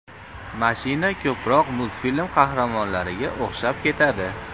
Mashina ko‘proq multfilm qahramonlariga o‘xshab ketadi.